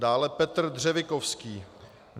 Dále Petr Dřevikovský.